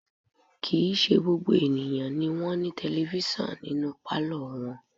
Kì í ṣe gbogbo àwọn ènìyàn ni wọ́n ní tẹlifísàn nínú pálọ̀ wọn